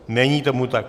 Není tomu tak.